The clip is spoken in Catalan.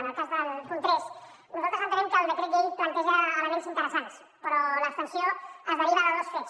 en el cas del punt tres nosaltres entenem que el decret llei planteja elements interessants però l’abstenció es deriva de dos fets